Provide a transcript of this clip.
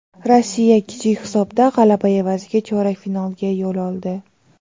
Rossiya kichik hisobdagi g‘alaba evaziga chorak finalga yo‘l oldi.